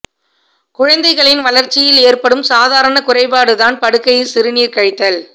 குழந்தைகளின் வளர்ச்சியில் ஏற்படும் சாதாரணக் குறைபாடு தான் படுக்கையில் சிறுநீர் கழித்தல்